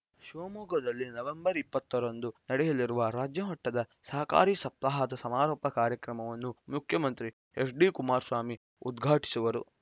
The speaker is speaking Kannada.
ಶಿವಮೊಗ್ಗದಲ್ಲಿ ನವೆಂಬರ್ ಇಪ್ಪತ್ತು ರಂದು ನಡೆಯಲಿರುವ ರಾಜ್ಯಮಟ್ಟದ ಸಹಕಾರಿ ಸಪ್ತಾಹದ ಸಮಾರೋಪ ಕಾರ್ಯಕ್ರಮವನ್ನು ಮುಖ್ಯಮಂತ್ರಿ ಎಚ್‌ಡಿ ಕುಮಾರಸ್ವಾಮಿ ಉದ್ಘಾಟಿಸುವರು